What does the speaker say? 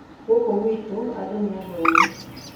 Gũkũ gwitũ andũ nĩ athomu